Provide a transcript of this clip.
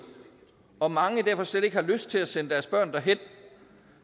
og mange derfor slet ikke har lyst til at sende deres børn derhen